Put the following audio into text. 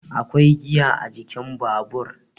akwai giya a jikin Babur